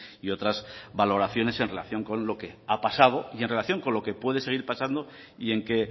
y otras valoraciones en relación con lo que ha pasado y en relación con lo que puede seguir pasando y en qué